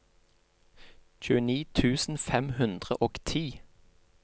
tjueni tusen fem hundre og ti